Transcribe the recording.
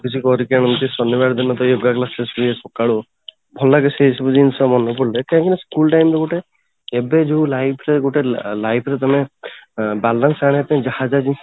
କିଛି କରିକି ଆଣନ୍ତି ଶନିବାର ଦିନ prayer class ହୁଏ ଯୋଉ ସକାଳୁ ଭଲ ଲାଗେ ସେ ସବୁ ଜିନିଷ ଭଲ ଲାଗେ କାହିଁକିନା school ଟା ଏମିତି ଗୋଟେ କାହିଁକି ନା ଏବେ ଯୋଉ life ରେ ଗୋଟେ life ରେ ତମେ balance ଆଣିବା ପାଇଁ ଯାହା ସବୁ